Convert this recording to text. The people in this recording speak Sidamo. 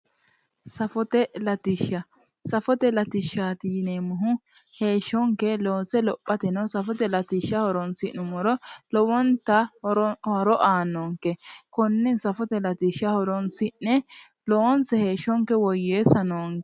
Safote latishsha. Safote latishshaati yineemmohu heeshshonke loose lophateno safote latishsha horoonsi'nummoro lowonta horo aannonke. Konne safote latishsha horoonsi'ne loonse heeshshonke woyyeessa noonke.